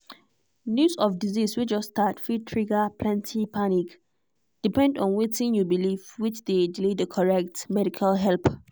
news of disease way just start fit trigger plenty panic depend on wetin you believe which dey delay the correct medical help